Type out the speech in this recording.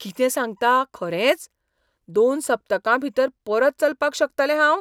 कितें सांगतां, खरेंच? दोन सप्तकांभीतर परत चलपाक शकतलें हांव?